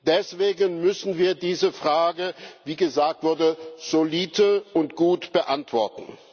Deswegen müssen wir diese Frage, wie gesagt wurde, solide und gut beantworten.